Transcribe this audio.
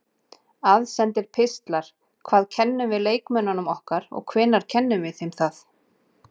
Aðsendir pistlar Hvað kennum við leikmönnunum okkar og hvenær kennum við þeim það?